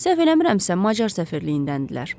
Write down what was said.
Səhv eləmirəmsə, macar səfirliyindəndirlər.